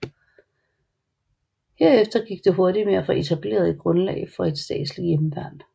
Herefter gik det hurtigt med at få etableret et grundlag for et statsligt hjemmeværn